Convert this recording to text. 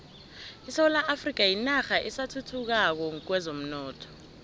isewula afrika yinarha esathuthukako kwezomnotho